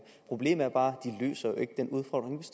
problemet er bare